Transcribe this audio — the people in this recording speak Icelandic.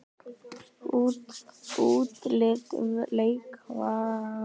Útlit leikvallar?